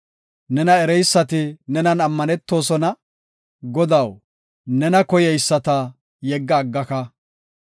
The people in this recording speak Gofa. Nena ereysati nenan ammanetosona; Godaw, nena koyeyisata yegga aggaka.